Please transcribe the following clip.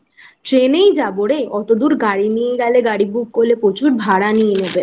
ট্রেনেই যাবো রে অতদূর গাড়ি নিয়ে গেলে গাড়ি book করলে প্রচুর ভাড়া নিয়ে নেবে।